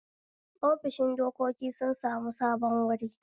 ofishin dokoki sun sami sabon wuri